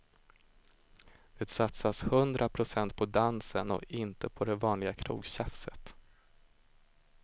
Det satsas hundra procent på dansen och inte på det vanliga krogtjafset.